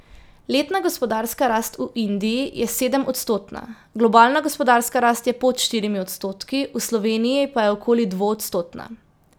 Letna gospodarska rast v Indiji je sedemodstotna, globalna gospodarska rast je pod štirimi odstotki, v Sloveniji pa je okoli dvoodstotna.